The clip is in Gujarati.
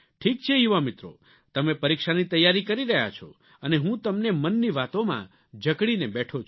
ઠીક છે યુવા મિત્રો તમે પરીક્ષાની તૈયારી કરી રહ્યા છો અને હું તમને મનની વાતોમાં જકડીને બેઠો છું